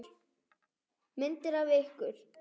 Myndir af ykkur.